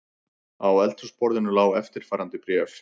Á eldhúsborðinu lá eftirfarandi bréf